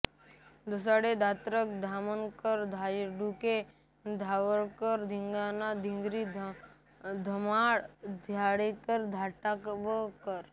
Dhasade Dhatrak Dhamankar Dhaygude Dharwadkar Dhingane Dhingra Dhumal Dhanawade Dhatavkar